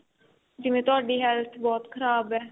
ਜਿਵੇਂ ਤੁਹਾਡੀ health ਬਹੁਤ ਖਰਾਬ ਏ